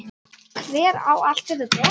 Hver á allt þetta dót?